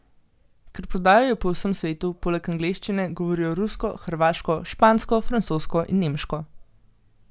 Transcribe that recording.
Ker prodajajo po vsem svetu, poleg angleščine govorijo rusko, hrvaško, špansko, francosko in nemško.